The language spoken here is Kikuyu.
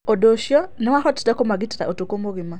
ũndũ ũcio nĩwahotire kũmagitĩra ũtukũ mũgima.